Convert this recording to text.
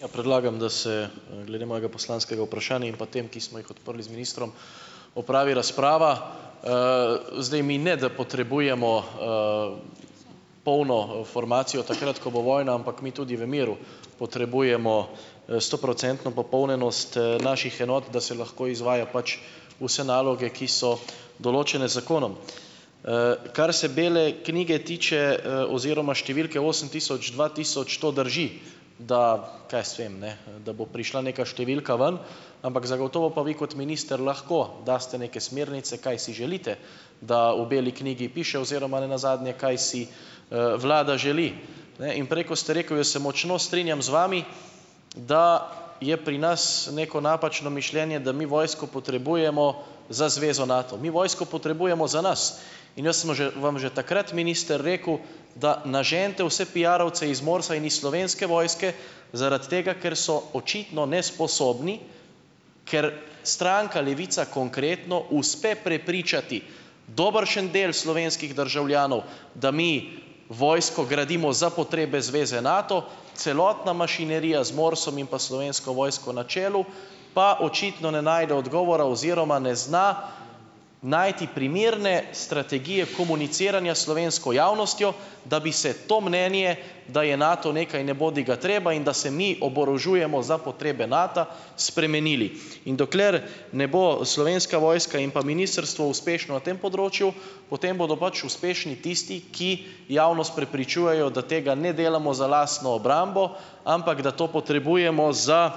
Ja, predlagam, da se, glede mojega poslanskega vprašanja in pa tem, ki smo jih odprli z ministrom, opravi razprava. Zdaj, mi ne, da potrebujemo, polno, formacijo, takrat, ko bo vojna, ampak mi tudi v miru potrebujemo, stoprocentno popolnjenost, naših enot, da se lahko izvaja pač vse naloge, ki so določene z zakonom. Kar se bele knjige tiče, oziroma številke osem tisoč, dva tisoč, to drži, da, kaj jaz vem, ne, da bo prišla neka številka ven, ampak zagotovo pa vi kot minister lahko date neke smernice, kaj si želite, da v beli knjigi piše oziroma nenazadnje, kaj si, vlada želi. Ne, in prej, ko ste rekel, jaz se močno strinjam z vami, da je pri nas neko napačno mišljenje, da mi vojsko potrebujemo za zvezo Nato. Mi vojsko potrebujemo za nas. In jaz smo že vam že takrat, minister, rekel, da naženite vse piarovce iz MORS-a in iz Slovenske vojske, zaradi tega ker so očitno nesposobni, ker stranka Levica konkretno uspe prepričati dobršen del slovenskih državljanov, da mi vojsko gradimo za potrebe zveze Nato, celotna mašinerija z MORS-om in pa Slovensko vojsko na čelu, pa očitno ne najde odgovora oziroma ne zna najti primerne strategije komuniciranja s slovensko javnostjo, da bi se to mnenje, da je Nato nekaj nebodigatreba in da se mi oborožujemo za potrebe Nata, spremenili. In dokler ne bo Slovenska vojska in pa ministrstvo uspešno tem področju, potem bodo pač uspešni tisti, ki javnost prepričujejo, da tega ne delamo za lastno obrambo, ampak da to potrebujemo za